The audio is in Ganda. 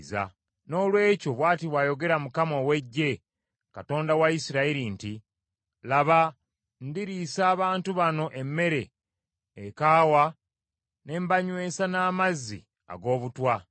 Noolwekyo bw’ati bw’ayogera Mukama ow’Eggye, Katonda wa Isirayiri nti, “Laba ndiriisa abantu bano emmere ekaawa ne mbanyweesa n’amazzi ag’obutwa.